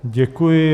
Děkuji.